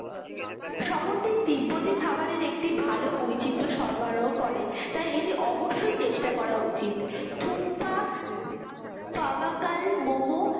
শহরটি তিব্বতি খাবারের একটি ভালো বৈচিত্র্য সরবরাহ করে তাই এটি অবশ্যই চেষ্টা করা উচিত থুপপা পাভাকাল মম